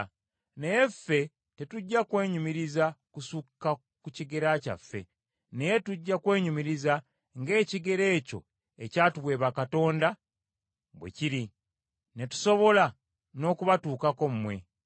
Naye ffe tetujja kwenyumiriza kusukka ku kigera kyaffe, naye tujja kwenyumiriza ng’ekigera ekyo ekyatuweebwa Katonda bwe kiri, ne tusobola n’okubatuukako mmwe.